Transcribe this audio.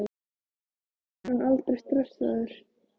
Verður hann aldrei stressaður?